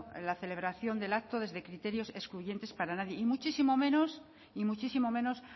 en la celebración del acto desde criterios excluyentes para nadie y muchísimo menos